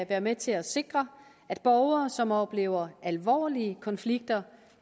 være med til at sikre at borgere som oplever alvorlige konflikter